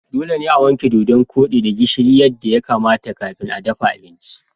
Dole ne a wanke Dodon kodi da gishiri yadda ya kamata kafin dafa abinci.